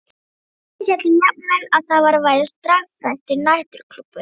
Sumir héldu jafnvel að þar væri starfræktur næturklúbbur.